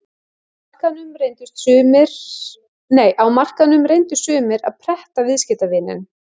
Á markaðnum reyndu sumir að pretta viðskiptavininn.